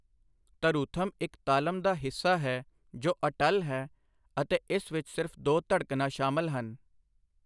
ਧਰੁਥਮ ਇੱਕ ਤਾਲਮ ਦਾ ਹਿੱਸਾ ਹੈ ਜੋ ਅਟੱਲ ਹੈ ਅਤੇ ਇਸ ਵਿੱਚ ਸਿਰਫ਼ ਦੋ ਧੜਕਣਾਂ ਸ਼ਾਮਲ ਹਨ।